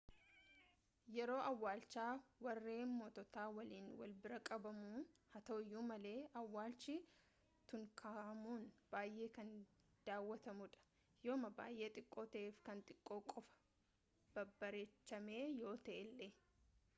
yeroo awwaalchaa warree mootata waliin wal biraa qabamuu haa ta'uuyyu malee awwalchii tutankahamun baayee kan dawwatamuu dha yooma baayee xiqqoo ta'eef kan xiqqoo qofaa babbareechamee yoo ta'eele